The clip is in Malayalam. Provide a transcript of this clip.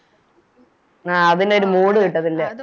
ആ അതിനൊരു Mood കിട്ടത്തില്ല